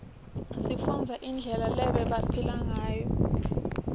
sifunbze inblela lebabephila nquyo